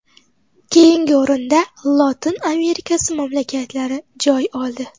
Keyingi o‘rinda Lotin Amerikasi mamlakatlari joy oldi.